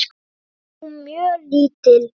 Mér finnst hún mjög lítil.